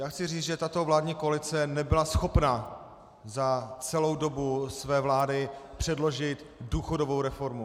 Já chci říct, že tato vládní koalice nebyla schopna za celou dobu své vlády předložit důchodovou reformu.